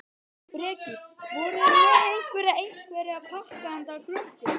Breki: Voruð þið með einhverja, einhverja pakka handa krökkunum?